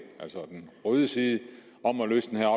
altså den røde side om at løse den her